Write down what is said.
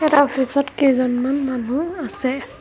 এটা অফিচত কেইজনমান মানুহ আছে।